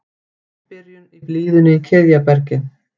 Ágætis byrjun í blíðunni í Kiðjabergi